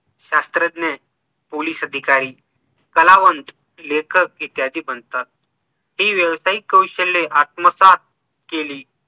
शास्त्रज्ञ POLICE अधिकारी कलावंत, लेखक इत्यादी बनतात ती व्यवसायिक कौशल्ये आत्मसात केली